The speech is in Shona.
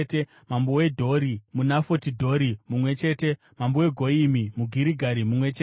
mambo weDhori (muNafoti Dhori) mumwe chete mambo weGoyimi muGirigari mumwe chete